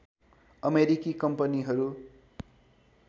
अमेरिकी कम्पनीहरू